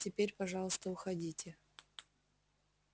теперь пожалуйста уходите